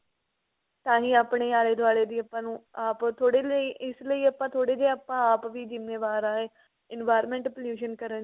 ਤਾਹੀਂ ਆਪਣੀ ਆਲੇ ਦਵਾਲੇ ਦੀ ਆਪਾਂ ਨੂੰ ਆਪ ਥੋੜੀ ਇਸ ਲਈ ਆਪਾ ਥੋੜੇ ਜੇ ਆਪਾ ਆਪ ਵੀ ਜ਼ਿੰਮੇਵਾਰ ਆਂ environment pollution ਕਰਨ